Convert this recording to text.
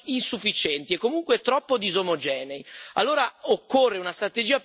Ci sono risultati positivi, ma ancora insufficienti, e comunque troppo disomogenei.